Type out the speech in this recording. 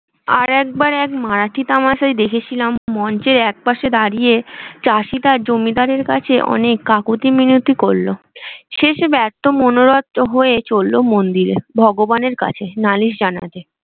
আর একবার এক মারাঠি তামাশা দেখেছিলাম মঞ্চের এক পাশে দাঁড়িয়ে চাষী তার জমিদারের কাছে অনেক কাকুতি মিনতি করলো শেষে ব্যার্থ মনোরথ হয়ে চললো মন্দিরে ভগবানে কাছে নালিশ জানাতে।